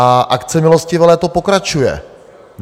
A akce milostivé léto pokračuje.